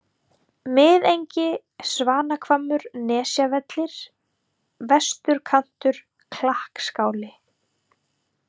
Miðengi Svanahvammur, Nesjavellir, Vesturkantur, Klakkskáli